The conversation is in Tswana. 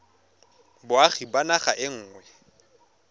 boagi ba naga e nngwe